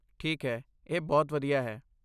ਠੀਕ ਹੈ, ਇਹ ਬਹੁਤ ਵਧੀਆ ਹੈ।